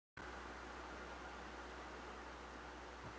Svo hlærðu.